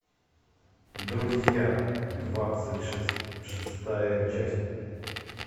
друзья двадцать шестая часть